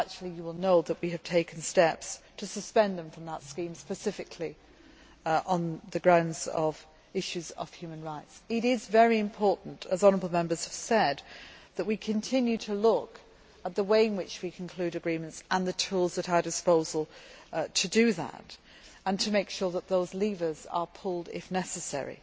You will know that we have taken steps to suspend them from that scheme, specifically on the grounds of issues of human rights. It is very important, as honourable Members have said, that we continue to look at the way in which we conclude agreements and the tools at our disposal to do that and to make sure that those levers are pulled if necessary.